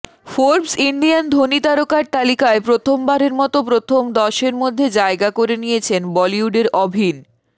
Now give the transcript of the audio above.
Forbes ইন্ডিয়ার ধনী তারকার তালিকায় প্রথমবারের মতো প্রথম দশের মধ্যে জায়গা করে নিয়েছেন বলিউডের অভিন